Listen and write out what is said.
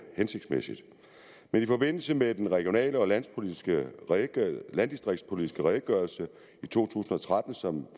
hensigtsmæssigt men i forbindelse med den regional og landdistriktspolitiske redegørelse i to tusind og tretten som